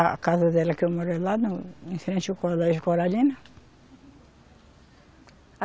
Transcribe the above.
A casa dela que eu moro é lá no, em frente ao colégio Coralina.